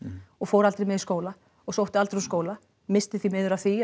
og fór aldrei með í skóla og sótti aldrei úr skóla missti því miður af því